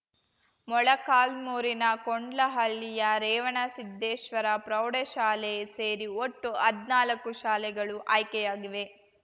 ಮೊಳಕಾಲ್ಮುರಿನ ಕೊಂಡ್ಲಹಳ್ಳಿಯ ರೇವಣಸಿದ್ದೇಶ್ವರ ಪ್ರೌಢಶಾಲೆ ಸೇರಿ ಒಟ್ಟು ಹದ್ನಾಲ್ಕು ಶಾಲೆಗಳು ಆಯ್ಕೆಯಾಗಿವೆ